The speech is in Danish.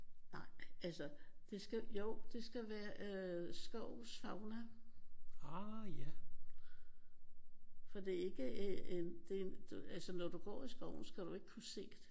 Nej altså det skal jo det skal være øh skovens fauna for det er ikke en det er en altså når du går i skoven skal du ikke kunne se